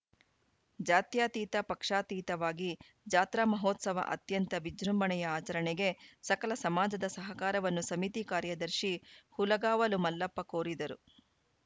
ಜಾತ್ಯತೀತ ಪಕ್ಷಾತೀತವಾಗಿ ಜಾತ್ರಾ ಮಹೋತ್ಸವ ಅತ್ಯಂತ ವಿಜೃಂಭಣೆಯ ಆಚರಣೆಗೆ ಸಕಲ ಸಮಾಜದ ಸಹಕಾರವನ್ನು ಸಮಿತಿ ಕಾರ್ಯದರ್ಶಿ ಹುಲಗಾವಲು ಮಲ್ಲಪ್ಪ ಕೋರಿದರು